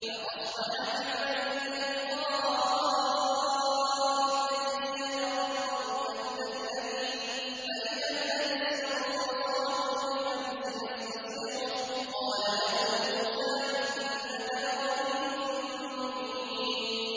فَأَصْبَحَ فِي الْمَدِينَةِ خَائِفًا يَتَرَقَّبُ فَإِذَا الَّذِي اسْتَنصَرَهُ بِالْأَمْسِ يَسْتَصْرِخُهُ ۚ قَالَ لَهُ مُوسَىٰ إِنَّكَ لَغَوِيٌّ مُّبِينٌ